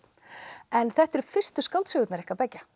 en þetta eru fyrstu skáldsögurnar ykkar beggja